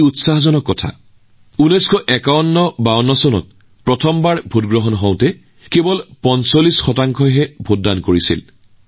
১৯৫১৫২ চনত যেতিয়া দেশত প্ৰথমবাৰৰ বাবে নিৰ্বাচন অনুষ্ঠিত হৈছিল তেতিয়া মাত্ৰ প্ৰায় ৪৫ শতাংশ ভোটাৰেহে ভোটদান কৰিছিল